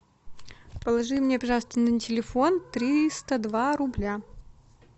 положи мне пожалуйста на телефон триста два рубля